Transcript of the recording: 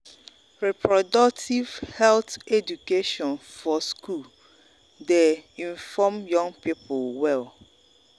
reproductive health education for school dey inform young people well.